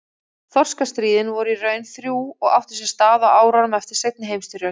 Þorskastríðin voru í raun þrjú og áttu sér stað á árunum eftir seinni heimsstyrjöld.